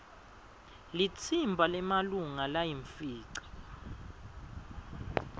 litsimba lemalunga layimfica